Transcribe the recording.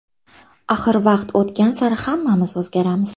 Axir vaqt o‘tgan sari hammamiz o‘zgaramiz.